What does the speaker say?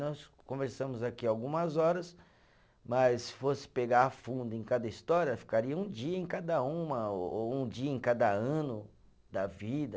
Nós conversamos aqui algumas horas, mas se fosse pegar a fundo em cada história, ficaria um dia em cada uma, ou um dia em cada ano da vida.